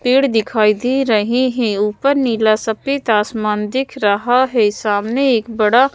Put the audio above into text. पेड़ दिखाई दे रहे हैं ऊपर नीला सफेद आसमान दिख रहा है सामने एक बड़ा--